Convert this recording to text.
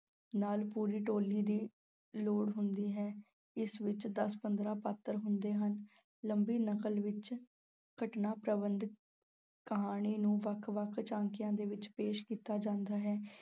ਨਾਲ ਪੂਰੀ ਟੋਲੀ ਦੀ ਲੋੜ ਹੁੰਦੀ ਹੈ, ਇਸ ਵਿੱਚ ਦਸ-ਪੰਦਰਾਂ ਪਾਤਰ ਹੁੰਦੇ ਹਨ, ਲੰਮੀ ਨਕਲ ਵਿੱਚ ਘਟਨਾ ਪ੍ਰਬੰਧ ਕਹਾਣੀ ਨੂੰ ਵੱਖ-ਵੱਖ ਝਾਕੀਆਂ ਦੇ ਵਿੱਚ ਪੇਸ਼ ਕੀਤਾ ਜਾਂਦਾ ਹੈ।